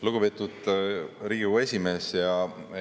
Lugupeetud Riigikogu esimees!